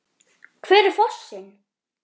Hver er fossinn?